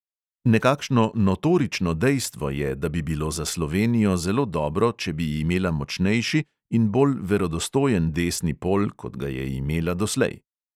Nekakšno notorično dejstvo je, da bi bilo za slovenijo zelo dobro, če bi imela močnejši in bolj verodostojen desni pol, kot ga je imela doslej.